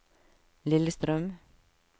Lillestrøm